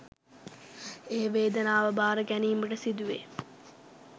ඒ වේදනාව භාර ගැනීමට සිදුවේ